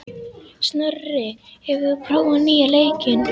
Snorri, hefur þú prófað nýja leikinn?